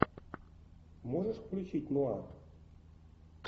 можешь включить нуар